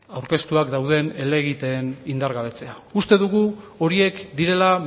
aurkeztuak dauden helegiteen indargabetzea uste dugu horiek direla